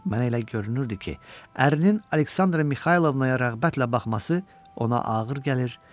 Mən elə görünürdü ki, ərin Aleksandra Mixaylovnaya rəğbətlə baxması ona ağır gəlir.